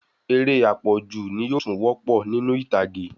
Eré apọju ni yóò tún wopo ninu ìtàgé